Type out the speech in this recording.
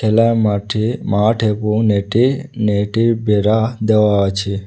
খেলা মাঠে মাঠ এবং নেটি নেট এর বেড়া দেওয়া আছে।